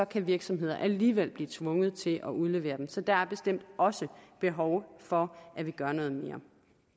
kan virksomheder alligevel blive tvunget til at udlevere dem så der er bestemt også behov for at vi gør noget mere